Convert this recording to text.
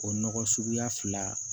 O nɔgɔ suguya fila